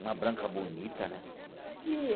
Uma branca bonita, né?